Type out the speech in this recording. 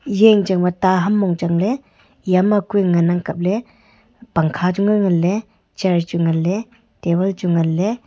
eya yangchang ba ta ham mong changle eya ma ku ang kaple pankha chu ngan le chair chu ngan le table chu ngan le.